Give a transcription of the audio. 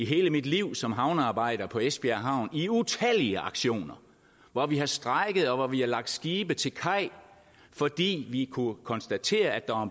hele mit liv som havnearbejder på esbjerg havn har i utallige aktioner hvor vi har strejket og hvor vi har lagt skibe til kaj fordi vi kunne konstatere at der